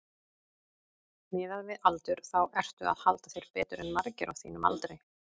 Miðað við aldur þá ertu að halda þér betur en margir á þínum aldri?